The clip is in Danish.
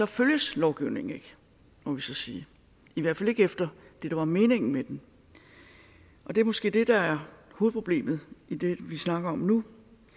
følges lovgivningen ikke må vi så sige i hvert fald ikke efter det der var meningen med den det er måske det der er hovedproblemet i det vi snakker om nu